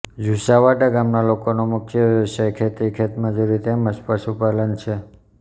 જુસાવાડા ગામના લોકોનો મુખ્ય વ્યવસાય ખેતી ખેતમજૂરી તેમ જ પશુપાલન છે